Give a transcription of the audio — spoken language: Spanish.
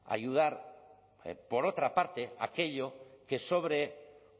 ayudar por otra parte a aquello que sobre